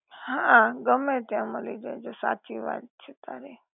હા ગમે ત્યાં મલી જાય છે, સાચી વાત છે તારી